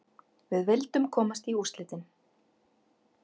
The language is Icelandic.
Við vildum komast í úrslitin.